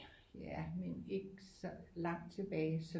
Ja men ikke sådan langt tilbage